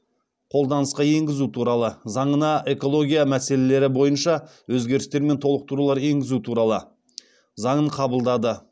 қолданысқа енгізу туралы заңына экология мәселелері бойынша өзгерістер мен толықтырулар енгізу туралы заңын қабылдады